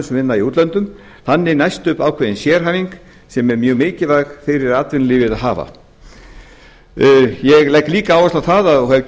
sem vinna í útlöndum þannig næst upp ákveðin sérhæfing sem er mjög mikilvæg fyrir atvinnulífið að hafa ég legg líka áherslu á það og hef